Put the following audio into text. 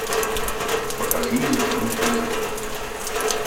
покажи мне фильм призрак